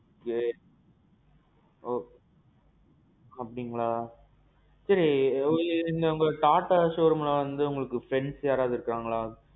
great. okay. அப்டீங்களா? சரி, உங்க TATA showroomல வந்து உங்களுக்கு friends யாரவது இருக்காங்களா?